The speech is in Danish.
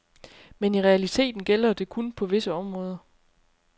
Men i realiteten gælder det kun på visse områder.